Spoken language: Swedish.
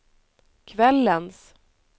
kvällens